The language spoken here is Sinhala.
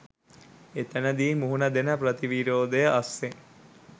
එතැනදි මුහුණ දෙන ප්‍රතිවිරෝධය අස්සෙන්